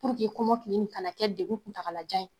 kɔmɔkili nin kana kɛ degun kuntagalajan ye